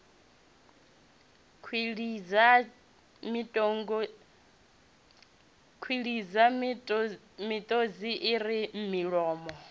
kwilidza miṱodzi i re milomo